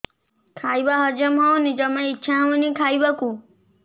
ଖାଇବା ହଜମ ହଉନି ଜମା ଇଛା ହଉନି ଖାଇବାକୁ